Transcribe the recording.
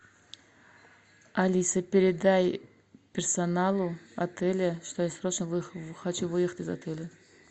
алиса передай персоналу отеля что я срочно хочу выехать из отеля